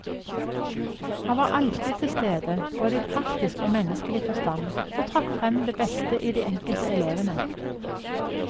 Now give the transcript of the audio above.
Han var alltid til stede, både i praktisk og menneskelig forstand, og trakk frem det beste i de enkelte elevene.